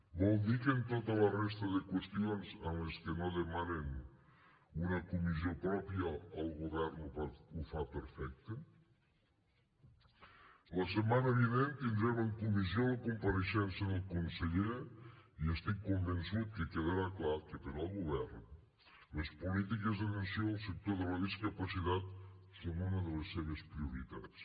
vol dir que en tota la resta de qüestions en les que no demanen una comissió pròpia el govern ho fa perfecte la setmana vinent tindrem en comissió la compareixença del conseller i estic convençut que quedarà clar que per al govern les polítiques d’atenció al sector de la discapacitat són una de les seves prioritats